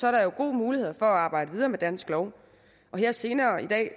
er der jo gode muligheder for at arbejde videre med dansk lov og her senere i dag